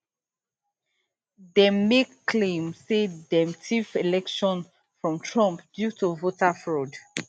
dem make claim say dem tiff election from trump due to voter fraud